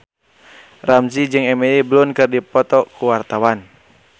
Ramzy jeung Emily Blunt keur dipoto ku wartawan